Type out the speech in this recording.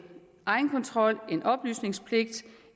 egenkontrol en oplysningspligt